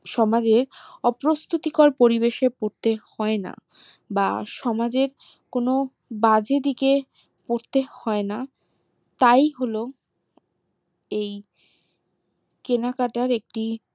সমাজে অপ্রস্তুতির পরিবেশে পড়তে হয়না বা সমাজের কোনো বাজে দিকে পড়তে হয়না তাই হলো এই কেনাকাটার একটি